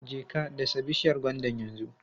Je ka dasa bishiyar gwandan yanzu!